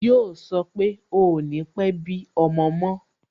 Yo sọ pé "ò ní pe bí ọmọ mo